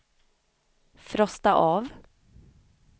frosta av